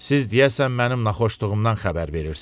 Siz deyəsən mənim naxışlığımdan xəbər verirsiz.